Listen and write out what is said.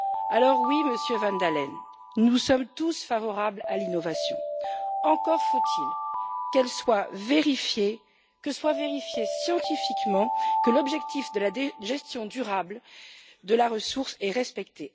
Alors, oui Monsieur van Dalen, nous sommes tous favorables à l'innovation, mais encore faut il qu'elle soit vérifiée, qu'il soit vérifié scientifiquement que l'objectif de la gestion durable de la ressource est respecté.